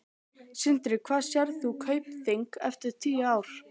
Sindri: Hvar sérð þú Kaupþing eftir tíu ár?